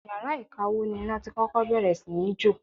Yàrá ìkawó ni iná tí kọ́kọ́ bẹ̀rẹ̀ sí ní jó.